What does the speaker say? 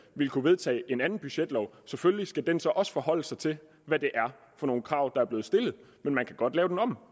vil kunne vedtage en anden budgetlov selvfølgelig skal den så også forholde sig til hvad det er for nogle krav der er blevet stillet men man kan godt lave den om